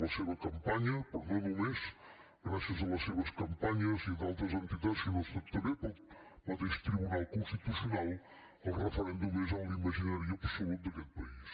la seva campanya però no només gràcies a les seves campanyes i d’altres entitats si no ha estat també pel mateix tribunal constitucional el referèndum és en l’imaginari absolut d’aquest país